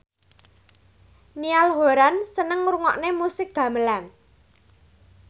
Niall Horran seneng ngrungokne musik gamelan